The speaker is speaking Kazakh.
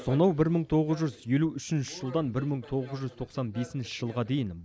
сонау бір мың тоғыз жүз елу үшінші жылдан бір мың тоғыз жүз тоқсан бесінші жылға дейін